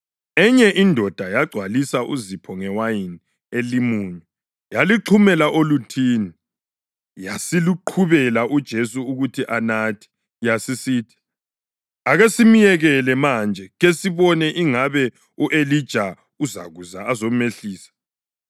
Enye indoda yagcwalisa uzipho ngewayini elimunyu, yaluxhumela oluthini, yasiluqhubela uJesu ukuthi anathe. Yasisithi, “Ake simyekele manje, kesibone ingabe u-Elija uzakuza azomehlisa.”